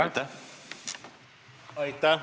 Aitäh!